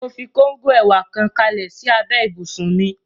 Mo fi kóngò ẹ̀wà kan kalẹ̀ sí abẹ́ ibùsùn mi